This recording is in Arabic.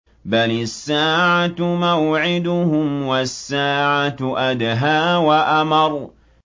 بَلِ السَّاعَةُ مَوْعِدُهُمْ وَالسَّاعَةُ أَدْهَىٰ وَأَمَرُّ